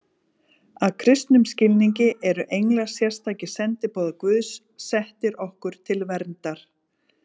Að kristnum skilningi eru englar sérstakir sendiboðar Guðs, settir okkur til verndar.